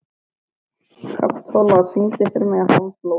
Kapitola, syngdu fyrir mig „Háflóð“.